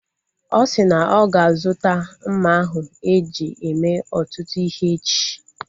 Ọ si na ọ ga-azuta mma ahụ eji eme ọtụtụ ihe echi